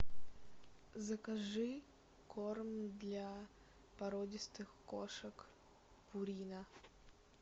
закажи корм для породистых кошек пурина